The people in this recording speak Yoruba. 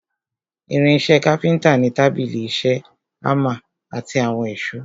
Irin ìṣe káfíntà ni tábìlì ìṣe, hámà àti àwọn èsó.